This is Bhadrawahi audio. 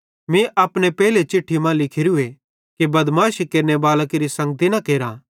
मीं अपने पेइले चिट्ठी मां लिखोरूए कि बदमाशी केरनेबालां केरि संगती न केरथ